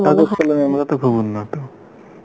আমরাতো খুব উন্নত